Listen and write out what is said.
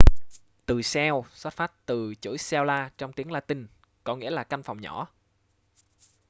từ cell xuất phát từ chữ cella trong tiếng latinh có nghĩa là căn phòng nhỏ